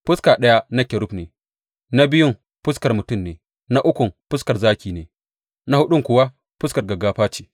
Fuska ɗaya na kerub ne, na biyun fuskar mutum ne, na ukun fuskar zaki ne, na huɗun kuwa fuskar gaggafa ce.